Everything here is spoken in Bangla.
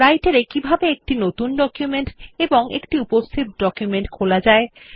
Writer এ কিভাবে একটি নতুন ডকুমেন্ট এবং একটি উপস্থিত ডকুমেন্ট খোলা যায়